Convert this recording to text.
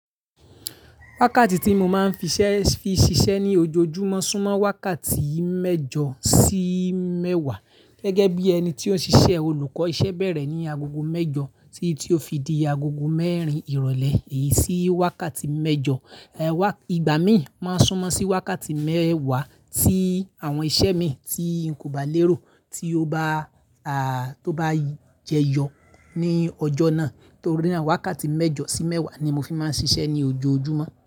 Wákàtí tí mo máa ń fi ṣiṣẹ́ ní ojoojúmọ́ súnmọ́ wákàtí mẹ́jọ sí mẹ́wàá. Gẹ́gẹ́ bí ẹni tí ó ń ṣiṣẹ́ olùkọ́, iṣẹ́ bẹ̀rẹ̀ ní agogo mẹ́jọ títí ó fi di agogo mẹ́rin ìrọ̀lẹ́. Èyí ṣí wákàtí mẹ́jọ. Ìgbà mi máa ń súnmọ́ sí wákàtí mẹ́wàá tí àwọn iṣẹ́ mi tí n kò bá lérò tí ó bá jẹyọ ní ọjọ́ náà. Nítorí wákàtí mẹ́jọ sí mẹ́wàá ni mo fi máa ń ṣiṣẹ́ ní ojoojúmọ́.